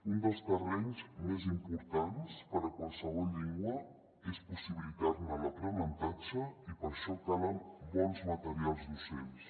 un dels terrenys més importants per a qualsevol llengua és possibilitar ne l’aprenentatge i per això calen bons materials docents